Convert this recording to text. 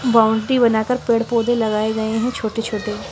Boundary बना कर पेड़ पौधे लगाए गए हैं छोटे छोटे।